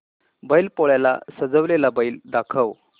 बैल पोळ्याला सजवलेला बैल दाखव